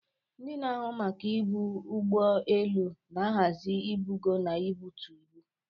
Ndị na-ahụ maka ibu n'ụgbọ elu na-ahazi ibugo na ibutu ibu.